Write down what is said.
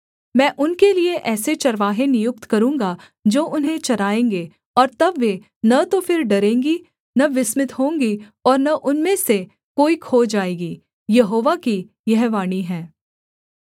मैं उनके लिये ऐसे चरवाहे नियुक्त करूँगा जो उन्हें चराएँगे और तब वे न तो फिर डरेंगी न विस्मित होंगी और न उनमें से कोई खो जाएगी यहोवा की यह वाणी है